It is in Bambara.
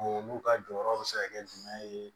Olu ka jɔyɔrɔ bɛ se ka kɛ jumɛn ye